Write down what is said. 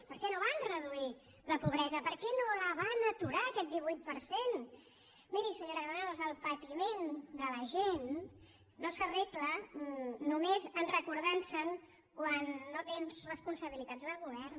per què no van reduir la pobresa per què no la van aturar aquest divuit per cent miri senyora granados el patiment de la gent no s’arregla només recordantho quan no tens responsabilitats de govern